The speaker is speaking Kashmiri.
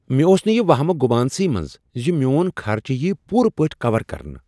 مےٚ اوس نہٕ یہ وہمہٕ گمان سٕے منٛز زِ میون خرچہٕ ییہ پوٗرٕ پٲٹھۍ کَور کرنہٕ۔